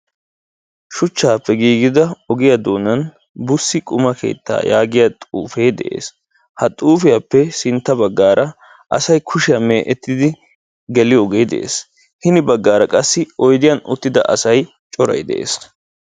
shuchchappe giigida ogiya doonani Bussi quma keetta giyagee de'ees ha xuufiyappe sintta baggaara asay kushiya meecettidi geliyo sohoy de'ees hini baggaara qassi asay oydiyan uttida asay coray de'ees.